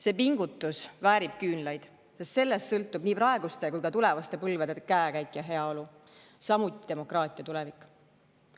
See pingutus väärib küünlaid, sest sellest sõltub nii praeguste kui ka tulevaste põlvede käekäik ja heaolu, samuti demokraatia tulevik.